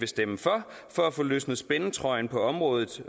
stemme for for at få løsnet spændetrøjen på området